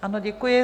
Ano, děkuji.